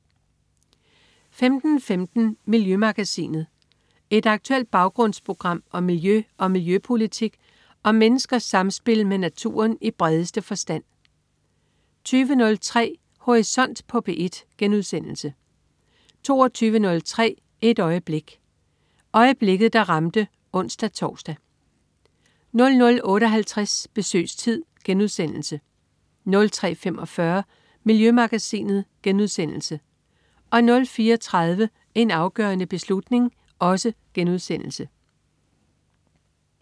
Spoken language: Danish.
15.15 Miljømagasinet. Et aktuelt baggrundsprogram om miljø og miljøpolitik og om menneskers samspil med naturen i bredeste forstand 20.03 Horisont på P1* 22.03 Et øjeblik. Øjeblikket der ramte (ons-tors) 00.58 Besøgstid* 03.45 Miljømagasinet* 04.30 En afgørende beslutning*